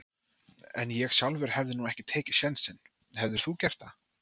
En ég sjálfur hefði nú ekki tekið sénsinn, hefðir þú gert það?